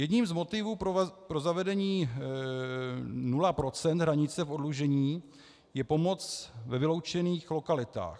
Jedním z motivů pro zavedení 0 % hranice oddlužení je pomoc ve vyloučených lokalitách.